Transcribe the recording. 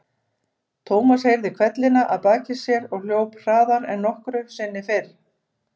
Thomas heyrði hvellina að baki sér og hljóp hraðar en nokkru sinni fyrr.